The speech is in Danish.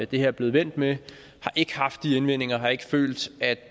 det her er blevet vendt med har ikke haft de indvendinger og har ikke følt at